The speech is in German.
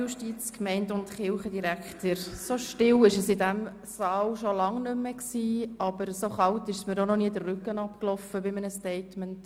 So still war es in diesem Saal schon lange nicht mehr, aber so kalt ist es mir bei einem Statement auch noch nie den Rücken hinuntergelaufen.